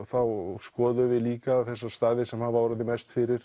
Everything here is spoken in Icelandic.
þá skoðuðum við líka þessa staði sem hafa orðið mest fyrir